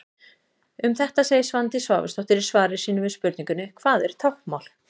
Um þetta segir Svandís Svavarsdóttir í svari sínu við spurningunni: Hvað er táknmál?